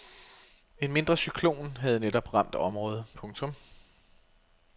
En mindre cyklon havde netop ramt området. punktum